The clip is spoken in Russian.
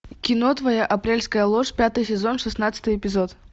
кино твоя апрельская ложь пятый сезон шестнадцатый эпизод